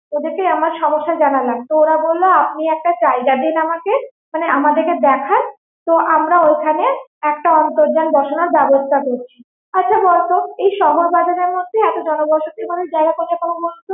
ওদের কে আমার সমস্যা জানালাম তো ওরা বললো আপনি একটা জায়গা দিন আমাকে, আমাদের দেখান তো আমরা ঐভাবে একটা অন্তর্যান বসানোর ব্যবস্থা করছি আচ্ছা বলতো এই শহরবাজারের মধ্যে এত জনবসতি করে জায়গা কোথায় পাবো বলতো